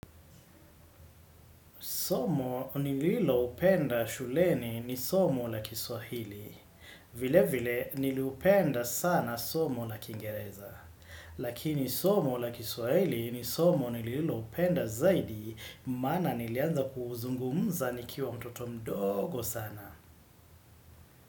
Somo nililopenda shuleni ni somo la kiswahili, vile vile niliupenda sana somo la kingereza, lakini somo la kiswahili ni somo nililopenda zaidi, maana nilianza kuuzungumza nikiwa mtoto mdogo sana.